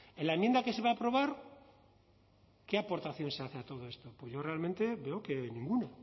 en la enmienda que se va a aprobar qué aportaciones se hace a todo esto pues yo realmente veo que ninguna